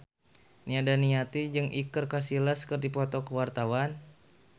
Nia Daniati jeung Iker Casillas keur dipoto ku wartawan